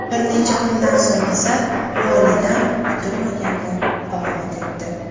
Bir necha kundan so‘ng esa volidam kutilmaganda vafot etdi.